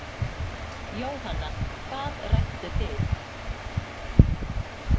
Jóhanna: Hvað rædduð þið?